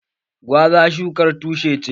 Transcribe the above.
Gwaza shukar tushe ce